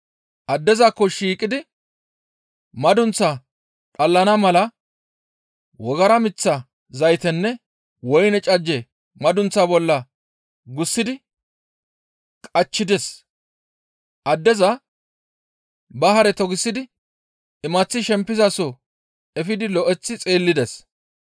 Addezakko shiiqidi madunththaa dhallana mala wogara miththa zaytenne woyne cajje madunththaa bolla gussidi qachchides; addeza ba Hare togisidi imaththi shempizaso efidi lo7eththi xeellides.